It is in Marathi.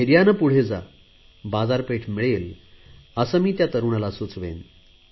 धैर्याने पुढे जा बाजारपेठ मिळेल असे मी या तरुणाला सुचवेन